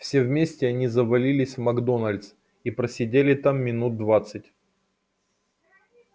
все вместе они завалились в макдоналдс и просидели там минут двадцать